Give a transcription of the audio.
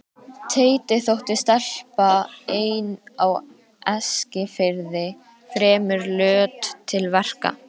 Teiti þótti stelpa ein á Eskifirði fremur löt til verka.